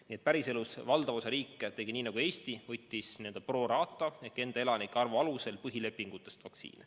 Nii et päriselus valdav osa riike tegi nii nagu Eesti: tellis n-ö pro rata ehk enda elanike arvu alusel põhilepingutes ette nähtud vaktsiine.